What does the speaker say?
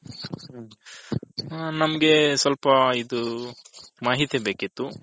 ನಮ್ಮಗೆ ಸ್ವಲ್ಪ ಇದು ಮಾಹಿತಿ ಬೇಕಿತು.